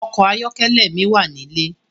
Òkò àyòkèlè mi wá nilé